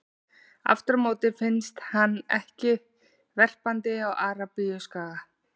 Aftur á móti finnst hann ekki verpandi á Arabíuskaga.